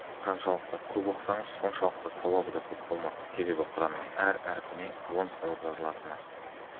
қаншалықты көп оқысаңыз соншалықты сауабы да көп болмақ себебі құранның әр әрпіне он сауап жазылатыны